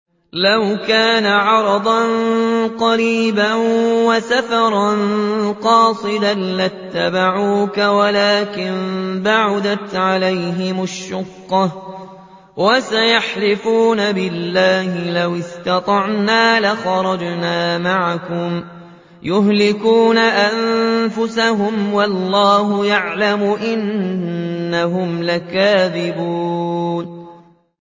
لَوْ كَانَ عَرَضًا قَرِيبًا وَسَفَرًا قَاصِدًا لَّاتَّبَعُوكَ وَلَٰكِن بَعُدَتْ عَلَيْهِمُ الشُّقَّةُ ۚ وَسَيَحْلِفُونَ بِاللَّهِ لَوِ اسْتَطَعْنَا لَخَرَجْنَا مَعَكُمْ يُهْلِكُونَ أَنفُسَهُمْ وَاللَّهُ يَعْلَمُ إِنَّهُمْ لَكَاذِبُونَ